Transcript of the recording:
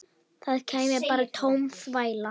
Það kæmi bara tóm þvæla.